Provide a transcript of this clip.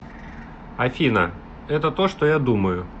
афина это то что я думаю